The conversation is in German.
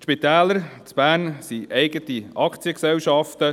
Die Spitäler in Bern sind Aktiengesellschaften.